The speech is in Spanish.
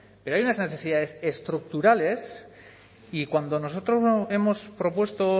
pero hay unas necesidades estructurales y cuando nosotros hemos propuesto